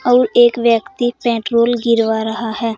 और एक व्यक्ति पेट्रोल गिरवा रहा है।